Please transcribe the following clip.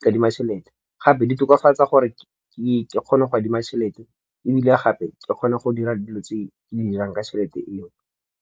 nkadima tšhelete. Gape di tokafatsa gore ke kgone go adima tšhelete ebile gape ke kgone go dira dilo tse ke di dirang ka tšhelete eo.